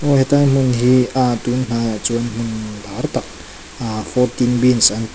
aw hetilai hmun hi ahh tun ahh chuan imm a har tak ahh an tih--